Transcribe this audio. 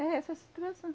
É essa a situação.